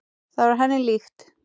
Það var henni líkt.